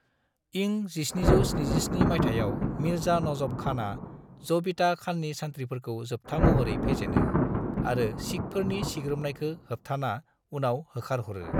इं 1777 माइथायाव मिर्जा नजफ खानआ जबीता खाननि सान्थ्रिफोरखौ जोबथा महरै फेजेनो आरो सिखफोरनि सिग्रोमनायखो होबथाना उनाव होखारहरो।